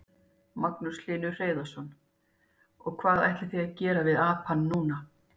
Magnús Hlynur Hreiðarsson: Og hvað ætlið þið að gera við apann núna?